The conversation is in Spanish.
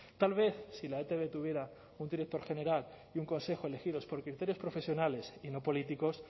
tal vez si la etb tuviera un director general y un consejo elegidos por criterios profesionales y no políticos